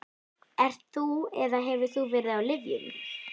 Ert þú eða hefur þú verið á lyfjum?